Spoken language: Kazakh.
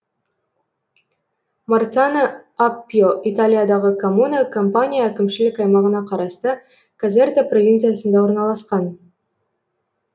марцано аппьо италиядағы коммуна кампания әкімшілік аймағына қарасты казерта провинциясында орналасқан